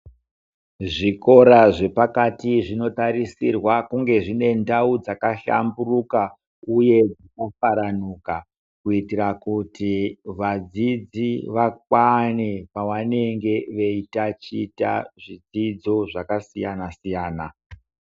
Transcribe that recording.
Zvikora zvepakati zvinotarisirwa kunge zvine ndau dzakahlamburuka uye dzakafaranuka kuitira kuti vadzidzi vakwane pavanenge veitaticha zvidzidzo zvakasiyanasiyana.